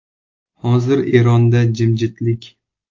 Hozir Eronda jimjitlik.